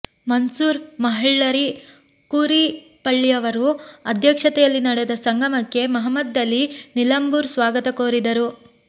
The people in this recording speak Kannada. ಮನ್ಸೂರ್ ಮಹ್ಳರಿ ಕೂರಿಪ್ಪಳ್ಳಿಯವರ ಅಧ್ಯಕ್ಷತೆಯಲ್ಲಿ ನಡೆದ ಸಂಗಮಕ್ಕೆ ಮುಹಮ್ಮದಲಿ ನಿಲಂಭೂರ್ ಸ್ವಾಗತ ಕೋರಿದರು